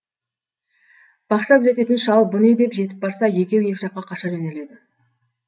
бақша күзететін шал бү не деп жетіп барса екеуі екі жаққа қаша жөнеледі